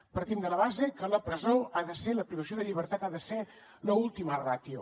partim de la base que la presó la privació de llibertat ha de ser l’última ràtio